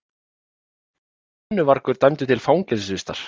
Brennuvargur dæmdur til fangelsisvistar